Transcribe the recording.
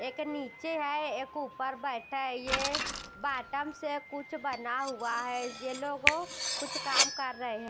एक नीचे है एक ऊपर बैठा है ये बॉटम से कुछ बना हुआ है ये लोग ओकुछ काम कर रहे हैं।